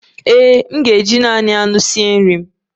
Ee e, m ga-esi nri na naanị anụ